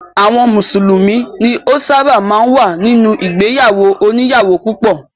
Àwọn mùsùlùmí ni ó ṣábà máa ń wà nínú ìgbéyàwó òníyàwó púpọ̀.